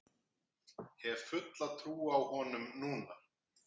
Hef fulla trú á honum núna.